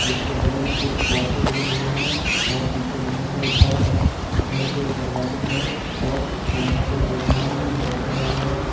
उसके बगल में कुछ पौधे उगे हुए हैं और पीछे बहोत सारे घर हैं घर के दरवाजे हैं और यहां पे आसमान भी दिख रहा है।